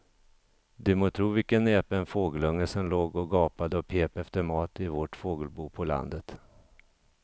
Du må tro vilken näpen fågelunge som låg och gapade och pep efter mat i vårt fågelbo på landet.